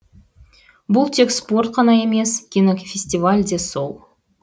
бұл тек спорт қана емес кинофестиваль де сол